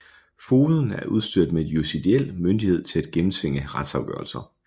Fogeden er udstyret med judiciel myndighed til at gennemtvinge retsafgørelser